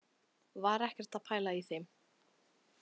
Var ekkert að pæla í þeim.